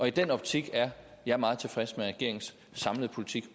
i den optik er jeg meget tilfreds med regeringens samlede politik